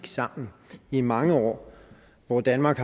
sammen i mange år hvor danmark